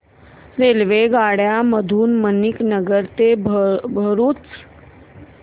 रेल्वेगाड्यां मधून मणीनगर ते भरुच